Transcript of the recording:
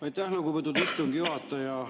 Aitäh, lugupeetud istungi juhataja!